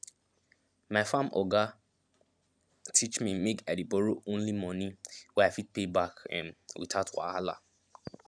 my farm oga teach me make i dey borrow only money wey i fit pay back um without wahala